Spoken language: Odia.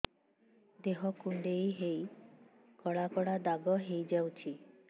ଦେହ କୁଣ୍ଡେଇ ହେଇ କଳା କଳା ଦାଗ ହେଇଯାଉଛି